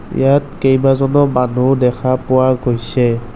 ইয়াত কেইবাজনো মানুহ দেখা পোৱা গৈছে।